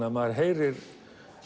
að maður heyrir